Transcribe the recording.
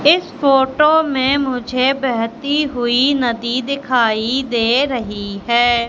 इस फोटो में मुझे बहती हुई नदी दिखाई दे रही है।